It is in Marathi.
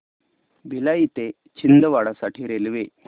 भिलाई ते छिंदवाडा साठी रेल्वे